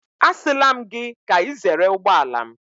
Asịla m gị ka ị zere ụgbọala m.